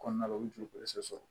Kɔnɔna la u bɛ joli sɔrɔ